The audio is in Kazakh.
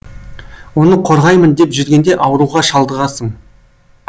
оны қорғаймын деп жүргенде ауруға шалдығасың